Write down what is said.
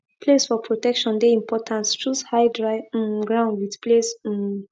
place for protection de important choose high dry um ground with place um